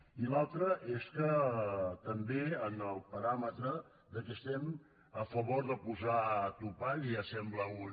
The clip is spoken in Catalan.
i l’altra és que també en el paràmetre del fet que estem a favor de posar topalls ja sembla un